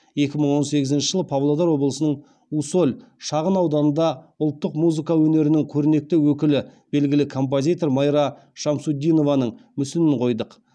екі мың он сегізінші жылы павлодар облысының усоль шағын ауданында ұлттық музыка өнерінің көрнекті өкілі белгілі композитор майра шамсутдинованың мүсінін қойдық